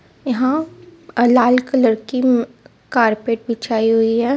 यहां अ-लाल कलर की अम्-कारपेट बीछाई हुई है.